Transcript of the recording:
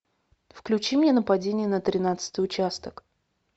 включи мне нападение на тринадцатый участок